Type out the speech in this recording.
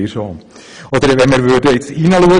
Sie möchten das vielleicht schon?